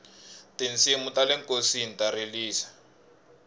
tinsimu tale nkosini ta rilisa